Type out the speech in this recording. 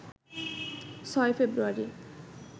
৬ ফেব্রুয়ারি